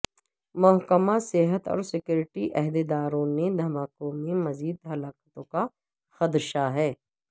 محکمہ صحت اور سیکیورٹی عہدیداروں نے دھماکوں میں مزید ہلاکتوں کا خدشہ ہے